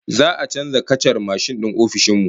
Za'a canza kacar mashin din ofishin mu